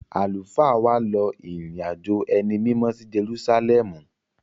Àlùfáà wa lọ ìrìn-àjò ẹni mímọ́ sí Jerúsálẹ́ẹ̀mù.